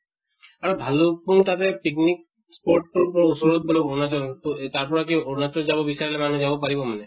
আৰু ভালুক্পুং তাতে picnic spot তোৰ ওচৰত বুলে আৰুণাচল তʼ এ তাৰ পৰা কি আৰুণাচল যাব বিচাৰিলে মানুহে যাব পাৰিব মানে?